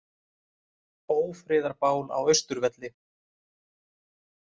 Ófriðarbál á Austurvelli